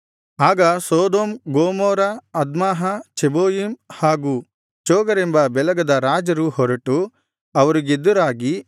ಆಗ ಸೊದೋಮ್ ಗೊಮೋರ ಅದ್ಮಾಹ ಚೆಬೋಯಿಮ್ ಹಾಗೂ ಚೋಗರೆಂಬ ಬೇಲಗದ ರಾಜರು ಹೊರಟು ಅವರಿಗೆದುರಾಗಿ